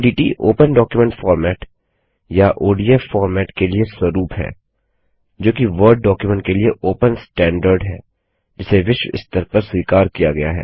ODT open document format या ODF format के लिए स्वरुप है जोकि वर्ड डॉक्युमेंट के लिए ओपन स्टैंडर्ड मानक है जिसे विश्व स्तर पर स्वीकार किया गया है